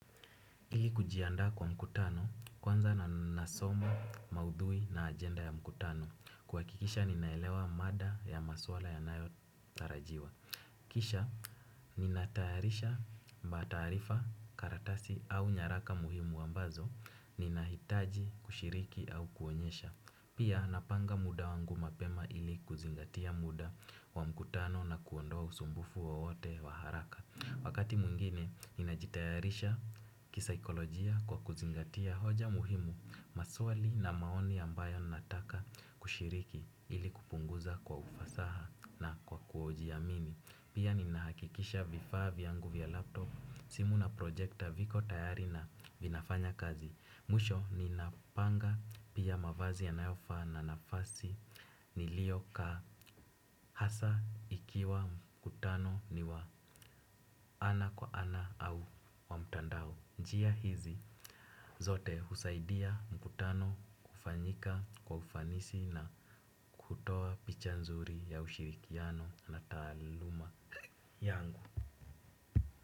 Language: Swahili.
Ili kujiandaa kwa mkutano, kwanza na nasoma, maudhui na agenda ya mkutano. Kuhakikisha ninaelewa mada ya maswala yanayo tarajiwa. Kisha, ninatayarisha mataarifa, karatasi au nyaraka muhimu ambazo, ninahitaji, kushiriki au kuonyesha. Pia, napanga muda wangu mapema ili kuzingatia muda wa mkutano na kuondoa usumbufu wowote wa haraka. Wakati mwingine, ninajitayarisha kisaikolojia kwa kuzingatia hoja muhimu, maswali na maoni ambayo nataka kushiriki ili kupunguza kwa ufasaha na kwa kujiamini. Pia ninahakikisha vifaa vyangu vya laptop, simu na projekta viko tayari na vinafanya kazi. Mwisho ninapanga pia mavazi yanayofaa na nafasi nilio kaa hasa ikiwa mkutano ni wa ana kwa ana au wa mtandao. Njia hizi zote husaidia mkutano kufanyika kwa ufanisi na kutoa picha nzuri ya ushirikiano na taaluma yangu.